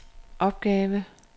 opgave